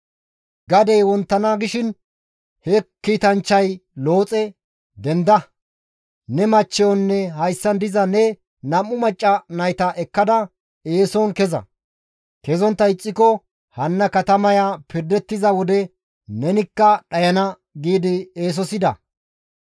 Gadey wonttana gishin he kiitanchchati Looxe, «Denda! Ne machchiyonne hayssan diza ne nam7u macca nayta ekkada eeson keza! Kezontta ixxiko, hanna katamaya pirdettiza wode nenikka dhayana» giidi eesosida.